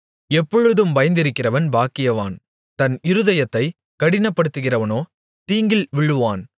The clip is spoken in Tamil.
எப்பொழுதும் பயந்திருக்கிறவன் பாக்கியவான் தன் இருதயத்தைக் கடினப்படுத்துகிறவனோ தீங்கில் விழுவான்